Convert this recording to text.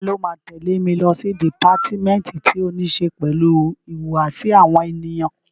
Ta ló máa tẹ̀lé mi lọ sí dìpátímẹ́ǹtì tí ó ní ṣe pẹ̀lú ìhùwàsí àwọn ènìyàn?